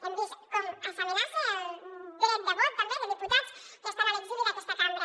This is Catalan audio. hem vist com s’amenaça el dret de vot també de diputats que estan a l’exili d’aquesta cambra